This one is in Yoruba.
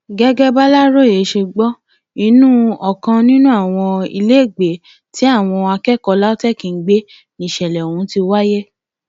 gẹgẹ bàlàròyé ṣe gbọ inú ọkàn nínú àwọn ilégbèé tí àwọn akẹkọọ lautech ń gbé níṣẹlẹ ọhún ti wáyé